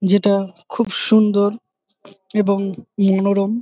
যেটা খুব সুন্দর এবং মনোরম ।